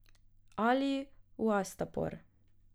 Ali v Astapor.